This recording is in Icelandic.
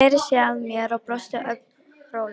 Sneri sér að mér og brosti, ögn rólegri.